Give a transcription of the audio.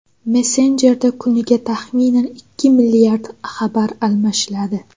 Messenjerda kuniga taxminan ikki milliard xabar almashiladi.